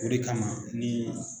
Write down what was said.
O de kama ni